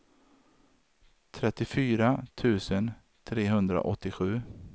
trettiofyra tusen trehundraåttiosju